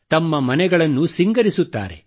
ತಮ್ಮ ಮನೆಗಳನ್ನು ಸಿಂಗರಿಸುತ್ತಾರೆ